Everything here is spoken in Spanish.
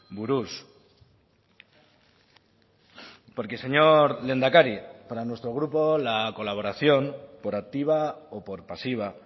buruz porque señor lehendakari para nuestro grupo la colaboración por activa o por pasiva